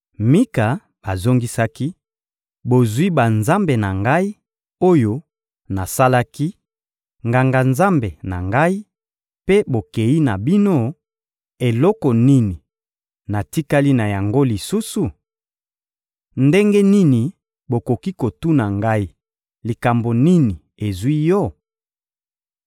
Mika azongisaki: — Bozwi banzambe na ngai, oyo nasalaki, nganga-nzambe na ngai, mpe bokeyi na bino; eloko nini natikali na yango lisusu? Ndenge nini bokoki kotuna ngai: «Likambo nini ezwi yo?»